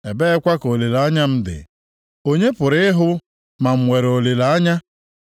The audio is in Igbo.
ebeekwa ka olileanya m dị? Onye pụrụ ịhụ ma m nwere olileanya?